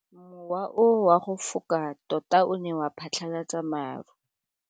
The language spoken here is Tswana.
Mowa o wa go foka tota o ne wa phatlalatsa maru.